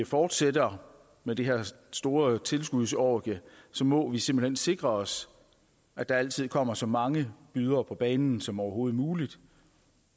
fortsætter med det her store tilskudsorgie må vi simpelt hen sikre os at der altid kommer så mange bydere på banen som overhovedet muligt